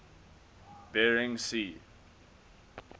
bering sea